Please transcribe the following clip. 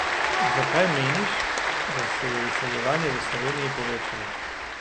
Zakaj, meniš, da se je izseljevanje v Sloveniji povečalo?